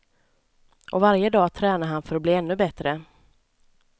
Och varje dag tränar han för att bli ännu bättre.